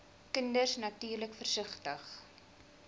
kinders natuurlik versigtig